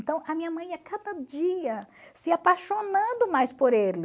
Então, a minha mãe ia cada dia se apaixonando mais por ele.